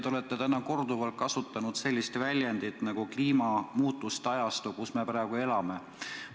Te olete täna korduvalt kasutanud sellist väljendit nagu "kliimamuutuste ajastu, kus me praegu elame".